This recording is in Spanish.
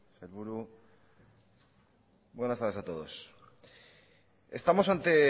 sailburu buenas tardes a todos estamos ante